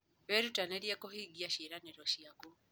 Wĩrutanĩrie kũhingia ciĩranĩro ciaku.